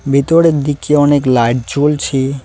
ভিতরের দিকে অনেক লাইট জ্বলছে।